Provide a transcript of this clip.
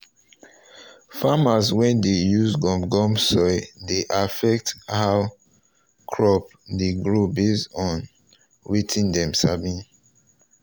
farmers wey dey use gum gum soil dey affect how crop dey grow based on wetin dem sabi